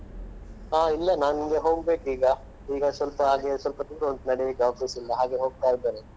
ಹ ಇಲ್ಲ ನಾನ್ ಹಿಂಗೆ ಹೋಗ್ಬೇಕು ಈಗ ಈಗ ಸ್ವಲ್ಪ ಹಾಗೆ ಸ್ವಲ್ಪ ದೂರ ಉಂಟು ನಡಿಲಿಕ್ಕೆ office ಇಂದ ಹಾಗೆ ಹೋಗ್ತಾ ಇದ್ದೇನೆ.